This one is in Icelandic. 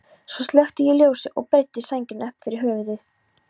Svo slökkti ég ljósið og breiddi sængina upp fyrir höfuð.